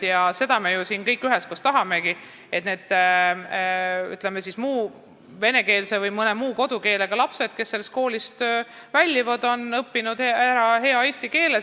Ja seda me ju siin kõik üheskoos tahamegi, et need vene või mõne muu kodukeelega lapsed, kes sellest koolist väljuvad, on ära õppinud hea eesti keele.